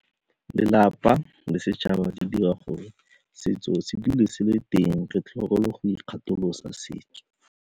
Lelapa le setšhaba di dira gore setso se dule se le teng re tlhokomele go ikgatholosa setso.